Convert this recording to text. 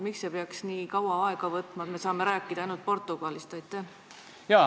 Miks see peaks nii kaua aega võtma ja me saame praegu rääkida ainult Portugalist?